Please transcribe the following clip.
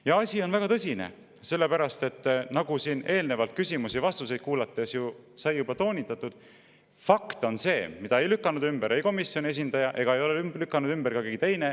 Ja asi on väga tõsine, sellepärast et nagu siin eelnevalt küsimusi ja vastuseid kuulates sai juba toonitatud: fakt on see – seda ei lükanud ümber komisjoni esindaja ega ole ümber lükanud ka keegi teine.